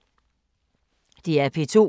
DR P2